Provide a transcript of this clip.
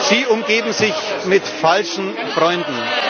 Sie umgeben sich mit falschen Freunden!